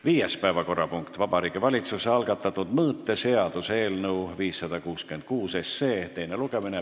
Viies päevakorrapunkt on Vabariigi Valitsuse algatatud mõõteseaduse eelnõu 566 teine lugemine.